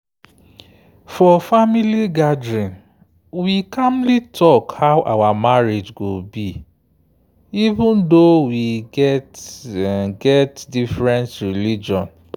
for family gathering we calmly talk how our marriage go be even though we get get different religion